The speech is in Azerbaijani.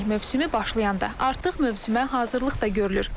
Çimərlik mövsümü başlayanda artıq mövsümə hazırlıq da görülür.